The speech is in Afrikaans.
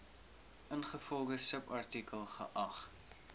ingevolge subartikel geag